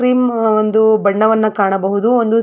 cream ಒಂದು ಬಣ್ಣವನ್ನು ಕಾಣಬಹುದು ಒಂದು --